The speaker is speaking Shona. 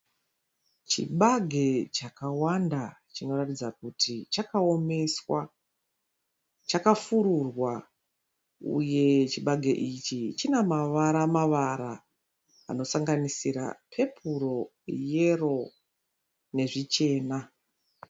Chibage chakawanda chinoratidza kuti chakaomeswa. Chakafururwa uye chibage ichi china mavara mavara anosanganisira pepuru, yero nezvichena.